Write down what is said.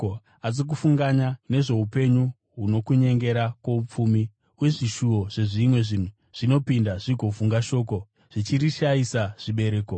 asi kufunganya nezvoupenyu huno, kunyengera kwoupfumi uye zvishuvo zvezvimwe zvinhu zvinopinda zvigovhunga shoko, zvichirishayisa zvibereko.